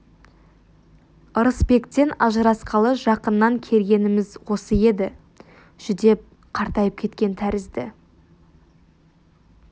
ырысбектен ажырасқалы жақыннан кергеніміз осы еді жүдеп қартайып кеткен тәрізді